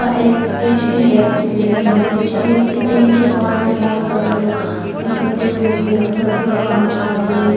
एक HDFC bank है HDFC bank के बाहर में बहुत सारे लोग इकट्ठे हुए हैं अपना अपना काम चाह रहे हैं।